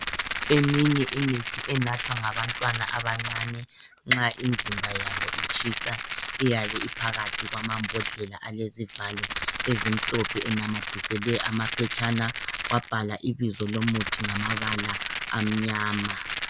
Eminye imithi enathwa ngabantwana abancane nxa imizimba yabo itshisa iyabe iphakathi kwamambodlela alesivalo ezimhlophe enamathiswele amaphetshane wabhalwa ibizo lomuntu ngabala amnyama